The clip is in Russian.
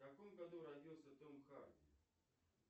в каком году родился том харди